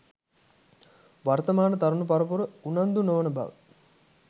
වර්තමාන තරුණ පරපුර උනන්දු නොවන බව